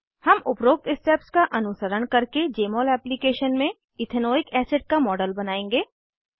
हम उपरोक्त स्टेप्स का अनुसरण करके जमोल एप्लीकेशन में इथेनोइक एसिड का मॉडल बनाएंगे